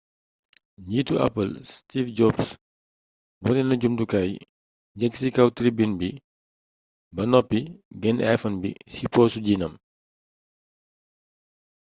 njiitu apple steve jobs wone na jumtukaay yéeg ci kaw tribune bi ba noppi genne iphone bi ci poosu jiinam